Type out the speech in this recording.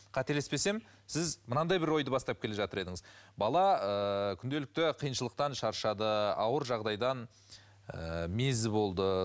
қателеспесем сіз мынандай бір ойды бастап келе жатыр едіңіз бала ыыы күнделікті қиыншылықтан шаршады ауыр жағдайдан ы мезі болды